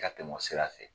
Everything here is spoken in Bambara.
Ka tɛmɛ o sira fɛ